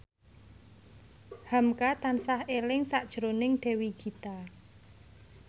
hamka tansah eling sakjroning Dewi Gita